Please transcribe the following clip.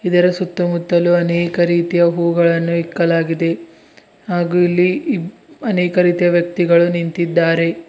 ಇದರ ಸುತ್ತ ಮುತ್ತಲು ಅನೇಕ ರೀತಿಯ ಹೂಗಳನ್ನು ಇಕ್ಕಲಾಗಿದೆ ಹಾಗೂ ಇಲ್ಲಿ ಇಬ್ಬ್ ಅನೇಕ ರೀತಿಯ ವ್ಯಕ್ತಿಗಳು ನಿಂತಿದ್ದಾರೆ.